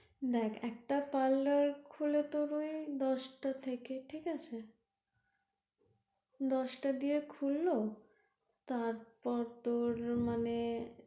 দেখ একটা parlour খুলে তোর ওই দশটা থেকে দশটা দিয়ে খুললো তারপর তোর মানে,